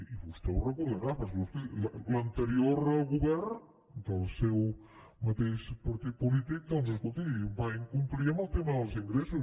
i vostè ho deu recordar perquè escolti l’anterior govern del seu mateix partit polític doncs escolti va incomplir amb el tema dels ingressos